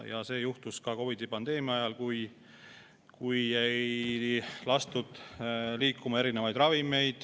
See juhtus ka COVID-i pandeemia ajal, kui teatud ravimeid ei lastud liikuma.